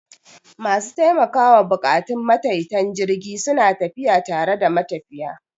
Masu taimakawa buƙatun matayitan jirgi suna tafiya tare da matafiya.